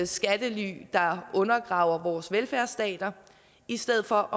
skattely der undergraver vores velfærdsstater i stedet for